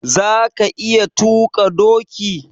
Za ka iya tuƙa doki?